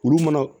Olu mana